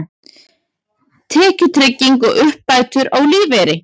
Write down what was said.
Tekjutrygging og uppbætur á lífeyri.